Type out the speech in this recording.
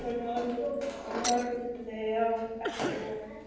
Hún horfði á eftir honum.